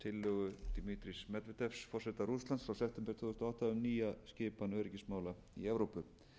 september tvö þúsund og átta um nýja skipan öryggismála í evrópu